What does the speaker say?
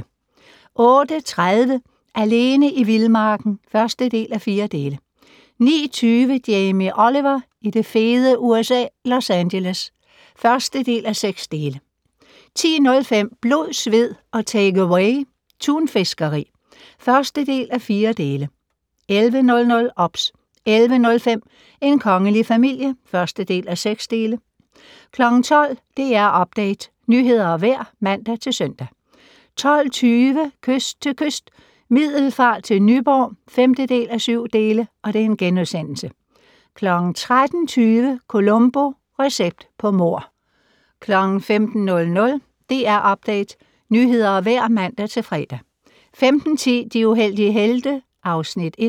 08:30: Alene i vildmarken (1:4) 09:20: Jamie Oliver i det fede USA - Los Angeles (1:6) 10:05: Blod, sved og takeaway - tunfiskeri (1:4) 11:00: OBS 11:05: En kongelig familie (1:6) 12:00: DR Update - nyheder og vejr (man-søn) 12:20: Kyst til kyst - Middelfart til Nyborg (5:7)* 13:20: Columbo: Recept på mord 15:00: DR Update - nyheder og vejr (man-fre) 15:10: De uheldige helte (Afs. 1)